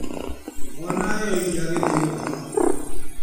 Mwana aheo iria agĩthiĩ gũkoma.